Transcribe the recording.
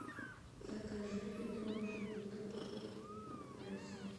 закажи литровую бутылку пепси